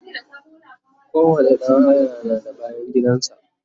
kowani ɗan haya na da bayangidan sa